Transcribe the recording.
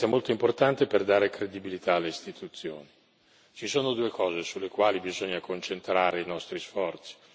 Ci sono due cose sulle quali bisogna concentrare i nostri sforzi, e non casualmente sono state ricordate qui più volte.